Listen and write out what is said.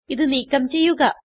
ഇത് നീക്കം ചെയ്യുക